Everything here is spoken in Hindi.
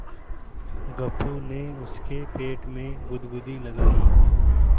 गप्पू ने उसके पेट में गुदगुदी लगायी